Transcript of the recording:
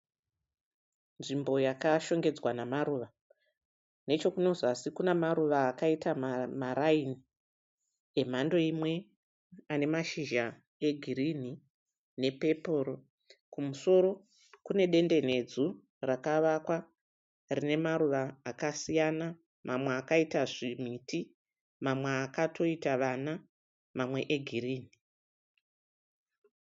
Nzvimbo yakashongedzwa namaruva. Nechekuno zasi kune maruva akaita maraini emhando imwe. Ane mashizha egirinhi nepepuro. Kumusoro kune dendenedzu rakavakwa rine maruva akasiyana mamwe akaita zvimiti mamwe akatoita vana mamwe egirinhi.